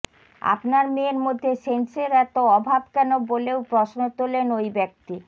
আপনার মেয়ের মধ্যে সেন্সের এত অভাব কেন বলেও প্রশ্ন তোলেন ওই ব্যক্তি